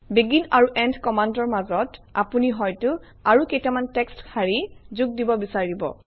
begin আৰু end কমাণ্ডৰ মাজত আপুনি হয়তো আৰু কেইটামান টেক্সট শাৰী যোগ দিব বিচাৰিব